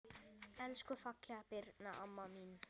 Elsku fallega Birna amma mín.